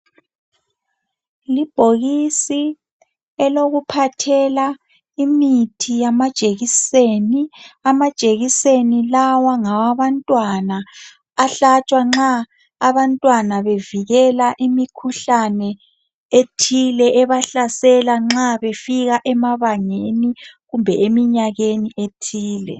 Libhokisi elokuphathela imithi yamajekiseni. Amajekiseni lawa ngawabantwana ahlatshwa nxa abantwana bevikela imikhuhlane ethile ebahlasela nxa befika emabangeni kumbe eminyakeni ethile.